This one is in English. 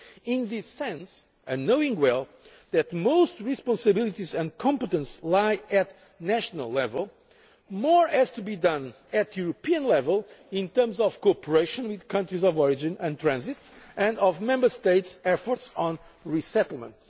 those in need. In this sense, and knowing well that most responsibilities and competences lie at national level, more has to be done at European level in terms of cooperation with countries of origin and transit and of Member States' efforts